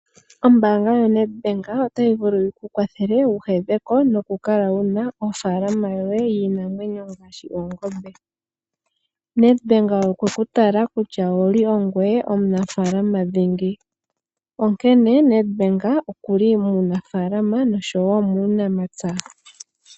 Ombaanga yaNetbank otayi vulu yikukwathele wu hedheko noku kala wuna ofaalama yoye iinamwenyo ngaashi oongombe. Netbank okweku tala kutya owuli ongoye omunafaalama dhingi onkene Netbank okuli muunafaalama noshowo muunamapya.